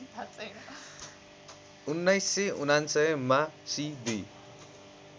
१९९९ मा सि २